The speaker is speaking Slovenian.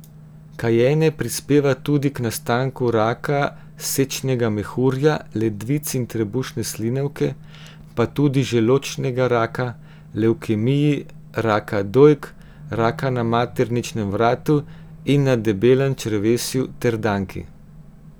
Kajenje prispeva tudi k nastanku raka sečnega mehurja, ledvic in trebušne slinavke, pa tudi želodčnega raka, levkemij, raka dojk, raka na materničnem vratu in na debelem črevesu ter danki.